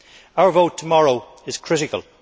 Our vote tomorrow is critical.